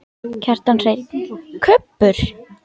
Kjartan Hreinn: Kubbur?